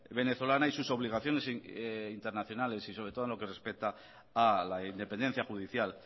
venezolana y sus obligaciones internacionales y sobre todo en lo que respeta a la independencia judicial